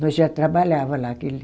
Nós já trabalhava lá que ele.